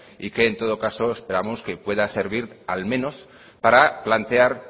y que en todo caso esperamos que pueda servir al menos para plantear